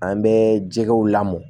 An bɛ jɛgɛw lamɔ